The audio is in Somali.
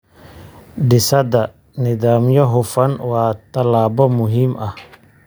Dhisida nidaamyo hufan waa tallaabo muhiim ah.